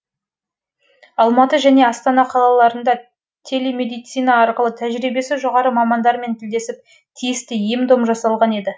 алматы және астана қалаларында телемедицина арқылы тәжірибесі жоғары мамандармен тілдесіп тиісті ем дом жасалған еді